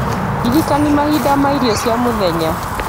ndirikania mahinda ma irio cia mũthenya